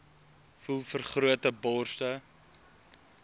voel vergrote borste